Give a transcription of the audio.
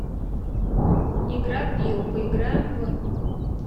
игра пиу поиграем в